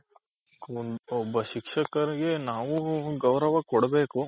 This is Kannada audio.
ಒಬ್ಬ ಶಿಕ್ಷಕರಿಗೆ ನಾವು ಗೌರವ ಕೊಡ್ಬೇಕು